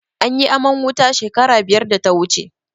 Anyi aman wuta shekara biyar da ta wuce.